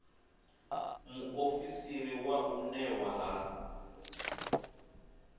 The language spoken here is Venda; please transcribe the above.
muofisiri wa u unḓwa ha